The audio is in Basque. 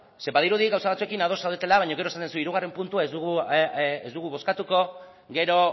zeren badirudi gauza batzuekin ados zaudetela baina gero esaten duzu hirugarren puntua ez dugu bozkatuko gero